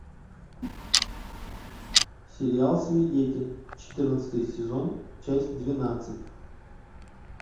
сериал свидетель четырнадцатый сезон часть двенадцать